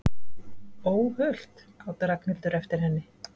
Óhult! át Ragnhildur eftir henni.